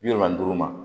Bi wolonwula duuru ma